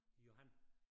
Johan